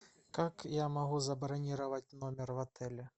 как я могу забронировать номер в отеле